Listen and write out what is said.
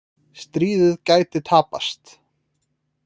Stríðið gæti tapast